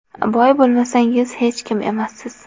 Boy bo‘lmasangiz, hech kim emassiz.